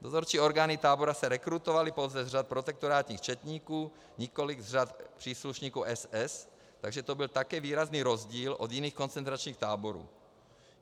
Dozorčí orgány tábora se rekrutovaly pouze z řad protektorátních četníků, nikoliv z řad příslušníků SS, takže to byl také výrazný rozdíl od jiných koncentračních táborů.